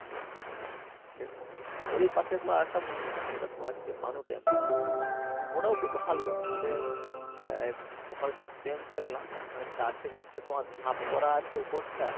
হ্যাঁ সেটাই ওরই পাশে তোমার আরেকটা মন্দির আছে এবার তোমার হচ্ছে মানু temple ওটাও খুব ভালো মানে আহ ওখানে শুধু temple না মানে চারটে চারটে তোমার ধাপ করা আছে উপরটা